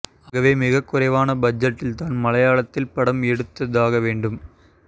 ஆகவே மிகக் குறைவான பட்ஜெட்டில்தான் மலையாளத்தில் படம் எடுத்தாக வேண்டும்